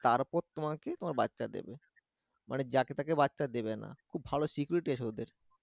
তারপর তোমাকে তোমার বাচ্চা দিবে মানে যাকে থেকে বাচ্চা দেবে খুব ভালো security আছে ওদের